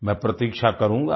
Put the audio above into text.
मैं प्रतीक्षा करूँगा